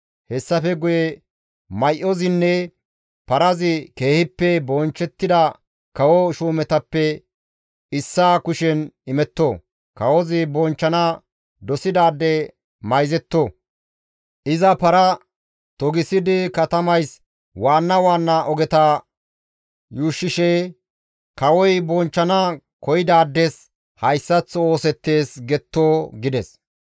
Hessafe guye may7ozinne parazi keehippe bonchchettida kawo shuumetappe issaa kushen imetto. Kawozi bonchchana dosidaade mayzetto; iza paraa togisidi katamays waanna waanna ogeta yuushshishe, ‹Kawoy bonchchana koyidaades hayssaththo oosettees› getto» gides.